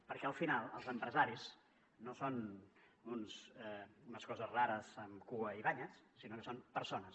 perquè al final els empresaris no són unes coses rares amb cua i banyes sinó que són persones